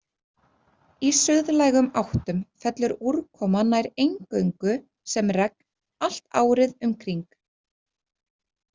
Í suðlægum áttum fellur úrkoma nær eingöngu sem regn allt árið um kring.